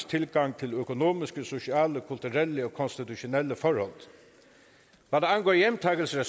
tilgang til økonomiske sociale kulturelle og konstitutionelle forhold hvad angår hjemtagelse af